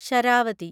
Sharavathi